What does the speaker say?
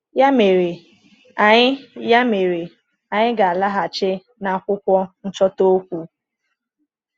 Ya mere, anyị Ya mere, anyị ga-alaghachi n’akwụkwọ nchọta okwu.